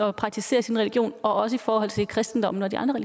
at praktisere sin religion også i forhold til kristendommen og de andre